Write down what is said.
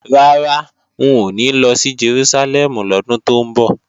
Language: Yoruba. Rárá, n ò ní lọ sí Jerúsálẹ́mù lọ́dún tó ń bọ̀